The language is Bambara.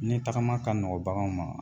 Ni tagama ka nɔgɔn baganw ma